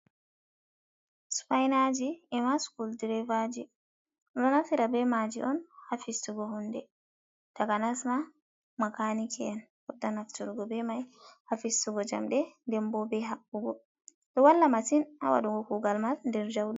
Supainaji ema sukul direvaaji, ɗum ɗo naftira be maaji on haa fistugo huunde, takanas ma makaniki en futta nafturgo be mai, haa fistugo jamɗe nden boo be habbugo, ɗo walla matsin haa waɗugo kuugal man nder ja'uɗum.